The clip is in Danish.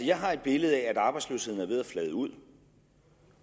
jeg har et billede af at arbejdsløsheden er ved at flade ud